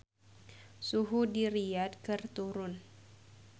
Suhu di Riyadh keur turun